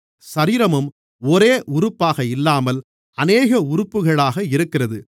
சரீரமும் ஒரே உறுப்பாக இல்லாமல் அநேக உறுப்புகளாக இருக்கிறது